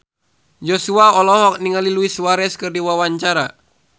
Joshua olohok ningali Luis Suarez keur diwawancara